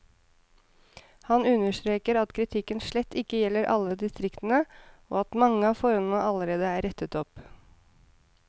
Han understreker at kritikken slett ikke gjelder alle distriktene, og at mange av forholdene allerede er rettet opp.